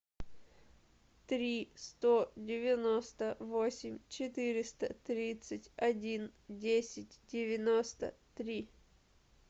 три сто девяносто восемь четыреста тридцать один десять девяносто три